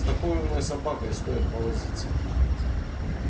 с такой умной собакой стоит повозиться